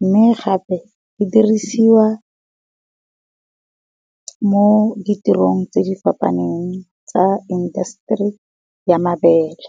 mme gape di dirisiwa mo di tirong tse di fapaneng tsa indaseteri ya mabele.